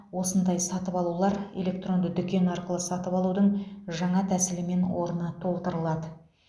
осындай сатып алулар электронды дүкен арқылы сатып алудың жаңа тәсілімен орны толтырылады